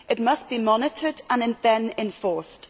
It must be monitored and then enforced.